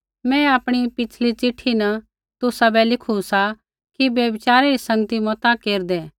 मैं आपणी पिछ़ली चिट्ठी न तुसाबै लिखू सा कि व्यभिचारि री संगती मता केरदै